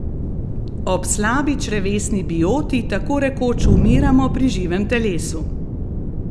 Ob slabi črevesni bioti tako rekoč umiramo pri živem telesu!